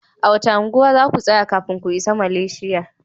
A wace kasa za ku tsaya kafin ku isa Malaysia?